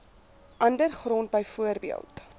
ander grond bv